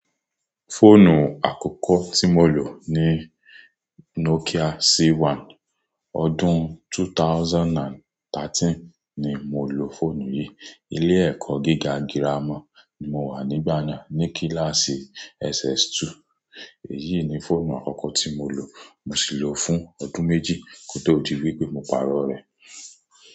Fóònù àkọ́kọ́ tí mo lò ni Nokia C1. Ọdún 2013 ni mo lò fóònù yìí. Ilé-ẹ̀kọ́ gíga girama ni mo wà nígbà náà ní kíláàsì SS2. Èyí ni fóònù àkọ́kọ́ tí mo lò, mo sì lò ó fún ọdún méjì kó tó di wípé mo pàrọ̀ rẹ̀.